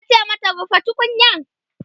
tace mata "rufe tukunyar!"